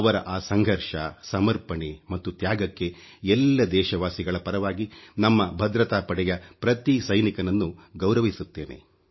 ಅವರ ಆ ಸಂಘರ್ಷ ಸಮರ್ಪಣೆ ಮತ್ತು ತ್ಯಾಗಕ್ಕೆ ಎಲ್ಲ ದೇಶ ವಾಸಿಗಳ ಪರವಾಗಿ ನಮ್ಮ ಭದ್ರತಾ ಪಡೆಯ ಪ್ರತಿ ಸೈನಿಕನನ್ನು ಗೌರವಿಸುತ್ತೇನೆ